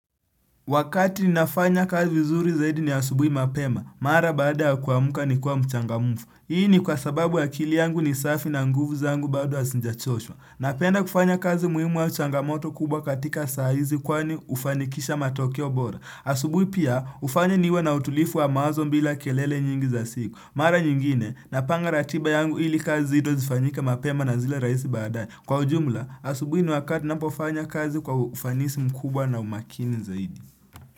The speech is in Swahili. Wakati ninafanya kazi vizuri zaidi ni asubui mapema, mara baada ya kuamuka nikiwa mchangamufu. Hii ni kwa sababu akili yangu ni safi na nguvu zangu bado asinja choshwa. Napenda kufanya kazi muhimu wa changamoto kubwa katika saa hizi kwani ufanikisha matokeo bora. Asubui pia ufanya niwe na utulifu wa mawazo mbila kelele nyingi za siku. Mara nyingine, napanga ratiba yangu ili kazi izo zifanyika mapema na zile raisi badae. Kwa ujumla, asubui ni wakati ninapofanya kazi kwa ufanisi mkubwa na umakini zaidi.